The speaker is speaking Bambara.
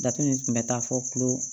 Datugu nin kun bɛ taa fɔ tulo